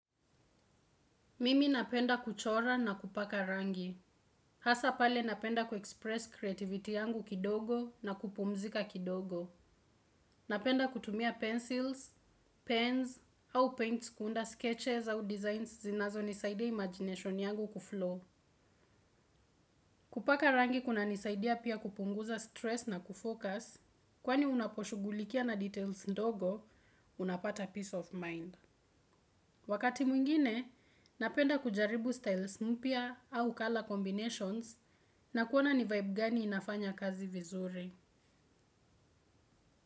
Mimi napenda kuchora na kupaka rangi. Hasa pale napenda kuexpress creativity yangu kidogo na kupumzika kidogo. Napenda kutumia pencils, pens au paints kuunda sketches au designs zinazonisaidia imagination yangu kuflow. Kupaka rangi kunanisaidia pia kupunguza stress na kufocus, kwani unaposhugulikia na details ndogo, unapata peace of mind. Wakati mwingine, napenda kujaribu styles mpya au color combinations na kuona ni vibe gani inafanya kazi vizuri.